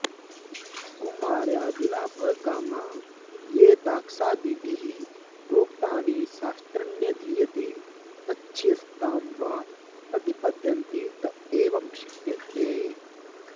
कुमार्यादिलाभकामा ये दाक्षादिभिः प्रोक्तानि शास्त्राण्यधीयते तच्छिष्यतां वा प्रतिपद्यन्ते त एवं क्षिप्यन्ते